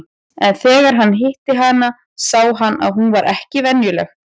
En þegar hann hitti hana sá hann að hún var ekki venjuleg.